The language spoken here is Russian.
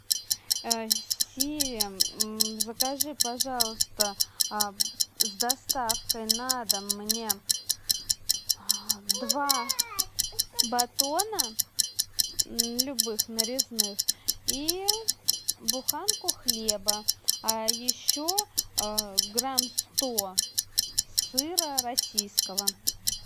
сири закажи пожалуйста с доставкой на дом мне два батона любых нарезных и буханку хлеба а еще грамм сто сыра российского